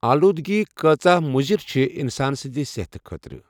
آلوٗدگی کٲژہ مُزِر چھِ اِنسان سٕنٛدِ صحتہٕ خٲطرٕ۔